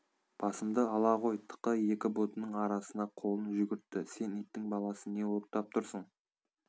басымды ала ғой тықы екі бұтының арасына қолын жүгіртті сен иттің баласы не оттап тұрсың